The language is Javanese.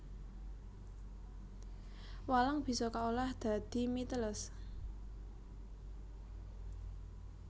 Walang bisa kaolah dadi mie teles